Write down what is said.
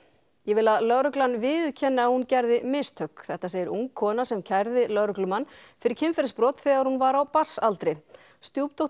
ég vil að lögreglan viðurkenni að hún gerði mistök þetta segir ung kona sem kærði lögreglumann fyrir kynferðisbrot þegar hún var á barnsaldri